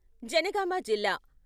జనగామ జిల్లా...